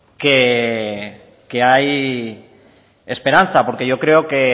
que hay esperanza porque yo creo que